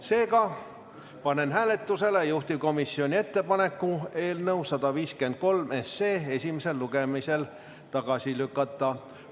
Seega panen hääletusele juhtivkomisjoni ettepaneku eelnõu 153 esimesel lugemisel tagasi lükata.